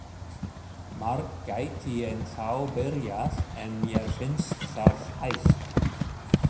Margt gæti ennþá byrjað, en mér finnst það hætt.